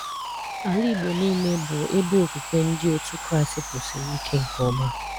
Ala igbo niile bụ ebe okwukwe ndị otu Kraist kwusịrị ike nke ọma